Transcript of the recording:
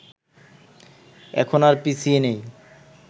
এখন আর পিছিয়ে নেই